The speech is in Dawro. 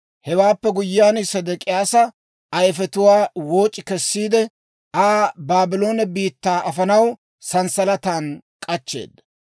Hewaappe guyyiyaan, Sedek'iyaasa ayifetuwaa wooc'i kessiide, Aa Baabloone biittaa afanaw sanssalatan k'achcheeda.